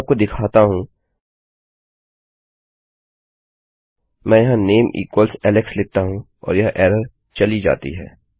चलिए मैं आपको दिखाता हूँ मैं यहाँ नामे इक्वल्स एलेक्स लिखता हूँ और यह एरर चली जाती है